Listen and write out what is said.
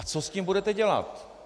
A co s tím budete dělat?